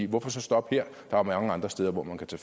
hvorfor så stoppe her der er mange andre steder hvor man kan